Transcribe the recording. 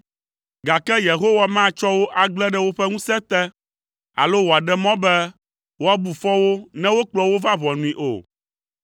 gake Yehowa matsɔ wo agblẽ ɖe woƒe ŋusẽ te, alo wòaɖe mɔ be, woabu fɔ wo ne wokplɔ wo va ʋɔnui o.